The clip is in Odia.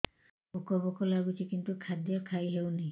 ଭୋକ ଭୋକ ଲାଗୁଛି କିନ୍ତୁ ଖାଦ୍ୟ ଖାଇ ହେଉନି